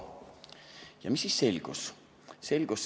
Ja mis siis selgus?